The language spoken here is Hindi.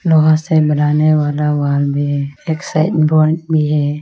लोहा से बनाने वाला वॉल भी है एक साइन बांड भी है।